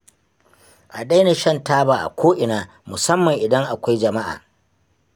A daina shan taba a ko'ina musamman idan akwai jama'a